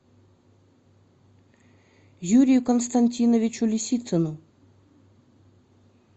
юрию константиновичу лисицыну